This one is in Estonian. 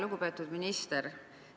Lugupeetud minister!